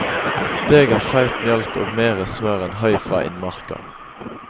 Det ga feit mjølk og mere smør enn høy fra innmarka.